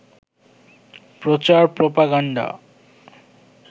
প্রচার প্রপাগান্ডা